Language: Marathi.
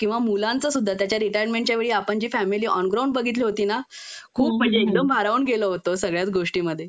किंवा मुलांचं सुद्धा त्यांच्या रिटायर्मेंटच्या वेळी आपण जी फॅमिली ऑन ग्राउंड बघितली होती ना खूप म्हणजे एकदम भारावून गेलो होतो सगळ्याच गोष्टींमध्ये